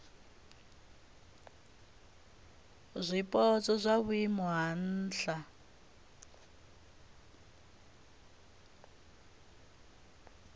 zwipotso zwa vhuimo ha nha